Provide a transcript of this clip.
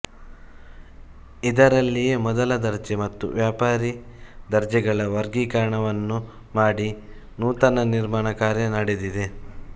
ಇದರಲ್ಲಿಯೇ ಮೊದಲ ದರ್ಜೆ ಮತ್ತು ವ್ಯಾಪಾರಿ ದರ್ಜೆಗಳ ವರ್ಗೀಕರಣವನ್ನೂ ಮಾಡಿ ನೂತನ ನಿರ್ಮಾಣ ಕಾರ್ಯ ನಡೆದಿದೆ